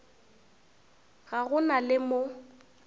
ga go na le mo